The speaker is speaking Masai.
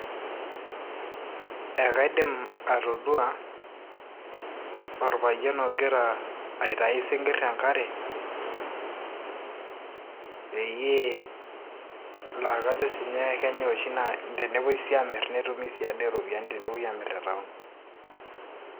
Ekaidim atodua orpayian ogira aitayu isinkirr tenkarepeyie laa kajo siinye kenyay oshi naa tenepuoi sii aamirr netumi sii ade iropiyiani tenepuoi aamirr te town'